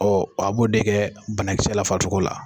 a b'o de kɛ banakisɛ la farisogo la.